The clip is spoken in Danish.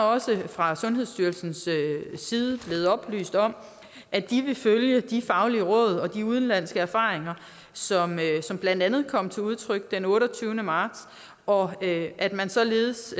også fra sundhedsstyrelsens side blevet oplyst om at de vil følge de faglige råd og de udenlandske erfaringer som blandt andet kom til udtryk den otteogtyvende marts og at man således